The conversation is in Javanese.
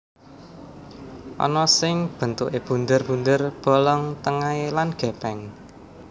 Ana sing bentuké bunder bunder bolong tengahé lan gèpèng